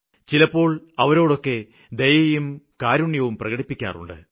ചിലപ്പോള് അവരോടൊക്കെ ദയയും കരുണയും പ്രകടിപ്പിക്കാറുണ്ട്